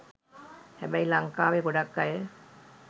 හැබැයි ලංකාවේ ගොඩක් අය